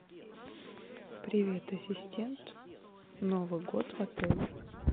привет ассистент новый год в отеле